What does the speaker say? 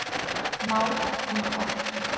Mál Inga